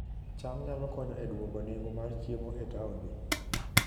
cham nyalo konyo e dwoko nengo mar chiemo e taonde